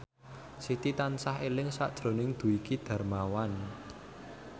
Siti tansah eling sakjroning Dwiki Darmawan